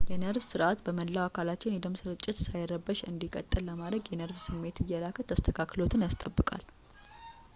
የነርቭ ስርዓት በመላ አካላችን የደም ስርጭት ሳይረበሽ እንዲቀጥል ለማድርግ የነርቭ ስሜት እየላከ ተስተካክሎትን ያስጠብቃል